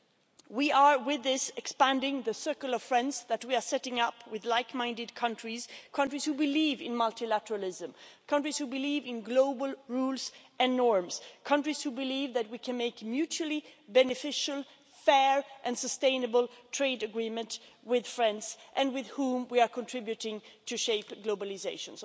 With this we are expanding the circle of friends that we are setting up with like minded countries, countries who believe in multilateralism, countries who believe in global rules and norms, and countries who believe that we can make mutually beneficial, fair and sustainable trade agreements with friends and with whom we are contributing to shaping globalisation.